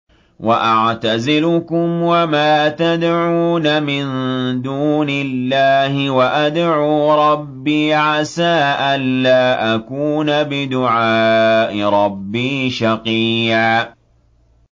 وَأَعْتَزِلُكُمْ وَمَا تَدْعُونَ مِن دُونِ اللَّهِ وَأَدْعُو رَبِّي عَسَىٰ أَلَّا أَكُونَ بِدُعَاءِ رَبِّي شَقِيًّا